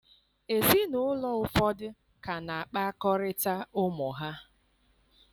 Ezinụlọ ụfọdụ ka na-akpakọrịta ụmụ ha